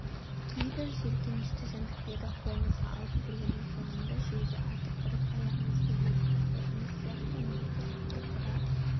кейбір жеркенішті жәндіктерді қолымызға алып көргеннің соңында жерге атып ұрып аяғымызбен езіп тастайтынымыз сияқты мені де атып ұра